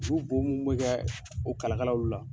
U bɔ minnu bɛ kɛ o kalakalaw la.